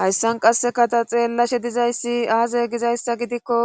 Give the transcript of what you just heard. Hayssan qasseka ta xeellashe dizay aaze gizayssa gidikko